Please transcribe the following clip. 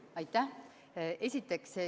Aitäh!